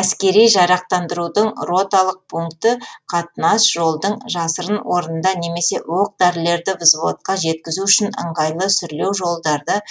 әскери жарақтандырудың роталық пункті қатынас жолдың жасырын орнында немесе оқ дәрілерді взводқа жеткізу үшін ыңғайлы сүрлеу жолдарда